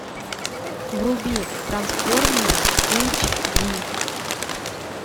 вруби трансформеры эйч ди